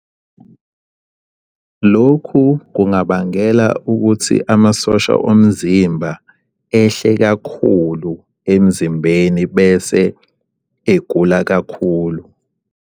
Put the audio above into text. Lokhu kungabangela ukuthi amasosha omzimba ehle kakhulu emzimbeni bese egula kakhulu.